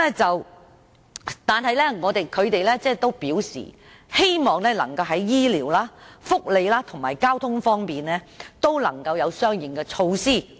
不過，他們表示希望在醫療、福利和交通方面能夠落實相應措施。